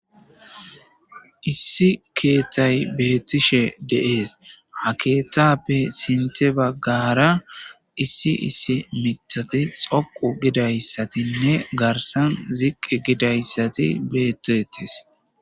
Issi keththay bettishshe de7es ha keththappe sinththa baggara issi issi miththati dhoqqu gidayssatinne garssan ziqqi gidaysati bettetes.